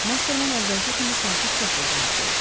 Mastermen əvvəlki kimi sakit səslə cavab verdi.